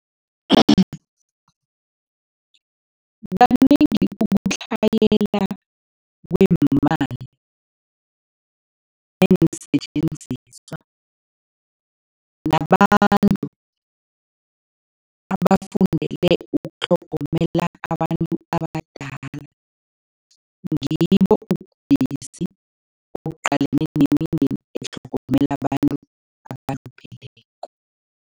Kanengi ukutlhayela kweemali neensetjenziswa nabantu abafundele ukutlhogomela abantu abadala, ngibo ubudisi obuqalene nemindeni etlhogomela abantu abalupheleko.